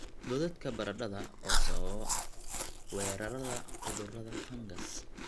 godadka baradhada oo sababa weerarada cudurada fangas